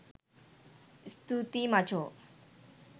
ස්තූතියි මචෝ